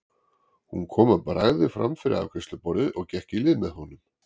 Hún kom að bragði fram fyrir afgreiðsluborðið og gekk í lið með honum.